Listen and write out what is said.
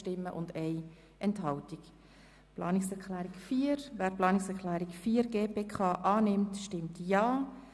Wer die Planungserklärung 4 annehmen will, stimmt Ja.